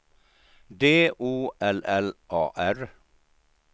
D O L L A R